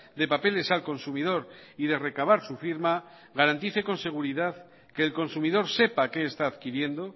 de papeles al consumidor y de recabar su firma garantice con seguridad que el consumidor sepa qué está adquiriendo